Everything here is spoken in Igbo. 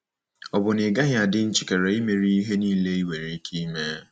Ọ̀ bụ na ị gaghị adị njikere imere ya ihe niile i nwere ike ime?